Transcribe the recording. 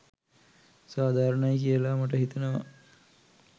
සාධාරණයි කියලා මට හිතෙනවා.